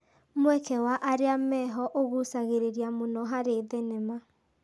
Mweke wa arĩa meho ũgucagĩrĩria mũno harĩ thenema.